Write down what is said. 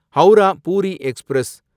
Howrah Puri express